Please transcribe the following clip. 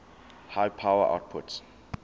high power outputs